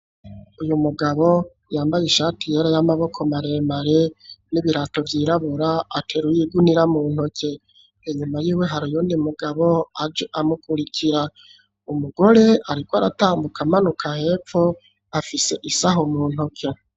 Uyu mugabo yambaye ishati yera y'amaboko maremare n'ibirato vyirabura ateruye ugunira mu ntoke . Inyuma y'iwe hariyo mugabo aje amukurikira umugore ariko aratambuka amanuka hepfo afise isaho mu ntoke.